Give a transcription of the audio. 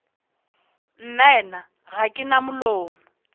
nnaena ga ke na molomo